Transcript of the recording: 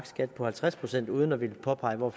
skat på halvtreds procent uden at ville påpege hvor